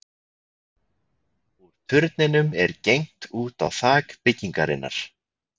Úr turninum er gengt út á þak byggingarinnar.